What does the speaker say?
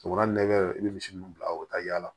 U ka nɛgɛ i bɛ misi minnu bila o bɛ taa yaala